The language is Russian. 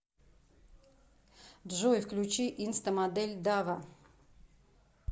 джой включи инстамодель дава